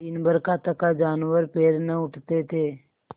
दिनभर का थका जानवर पैर न उठते थे